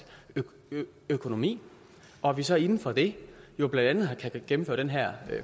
økonomi og at vi så inden for det jo blandt andet gennemfører den her